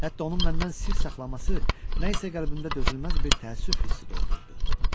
Hətta onun məndən sir saxlaması nə isə qəlbində dözülməz bir təəssüf hissi doğururdu.